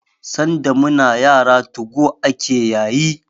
Sanda muna yara '2go' ake yayi